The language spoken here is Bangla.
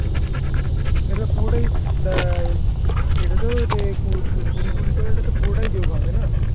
পুরোটাই আহ এটাতো কুড়ি কুড়ি করে পুরোটাই জোক হবে না